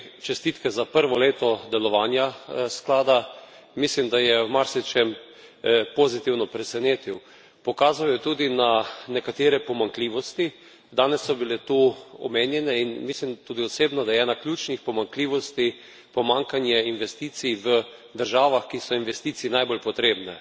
Spoštovani komisar Katainen, najprej čestitke za prvo leto delovanja sklada. Mislim, da je v marsičem pozitivno presenetil. Pokazal je tudi na nekatere pomanjkljivosti. Danes so bile tu omenjene in mislim tudi osebno, da je ena od ključnih pomanjkljivosti pomanjkanje investicij v državah, ki so investicij najbolj potrebne.